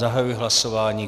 Zahajuji hlasování.